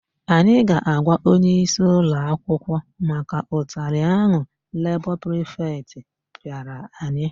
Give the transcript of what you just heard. Anyị ga-agwa onyeisi ụlọakwụkwọ maka ụtalị ahụ lebọ prifetị pịara anyị.